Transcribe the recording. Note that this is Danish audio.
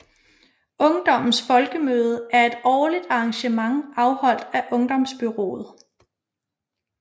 Ungdommens Folkemøde er et årligt arrangement afholdt af Ungdomsbureauet